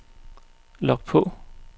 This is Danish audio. log på